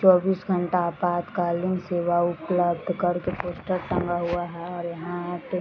चौबीस घंटा आपातकालीन सेवा उपलब्ध करके पोस्टर टांगा हुआ है और यहाँ पे --